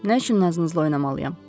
Nə üçün nazınızla oynamalıyam?”